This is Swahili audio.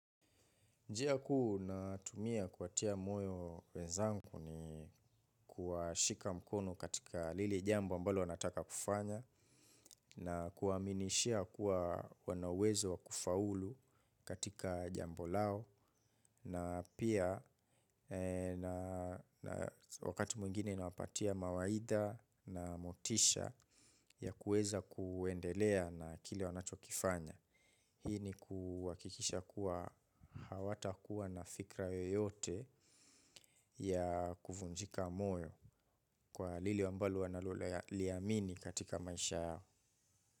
Njia kuu natumia kuwatia moyo wezangu ni kuwashika mkono katika lile jambo ambalo nataka kufanya na kuwaminishia kuwa wana uwezo wa kufaulu katika jambo lao na pia wakati mwingine inawapatia mawaidha na motisha ya kuweza kuendelea na kile wanachokifanya. Hii ni kuhakikisha kuwa hawatakuwa na fikra yoyote ya kuvunjika moyo kwa lile ambalo wanaloliamini katika maisha yao.